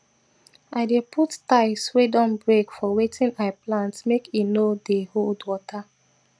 i dey put tiles wey don break for wetin i plant make e dey hold water